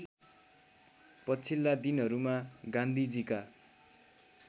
पछिल्ला दिनहरूमा गान्धीजीका